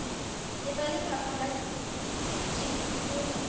le ba lefapha la temothuo